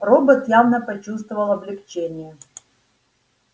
робот явно почувствовал облегчение